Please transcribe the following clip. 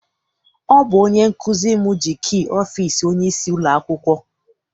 Ọ bụ onye nkụzi m ji kii ọfịịsi onyeisi ụlọakwụkwọ.